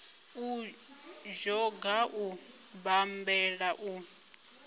u dzhoga u bammbela u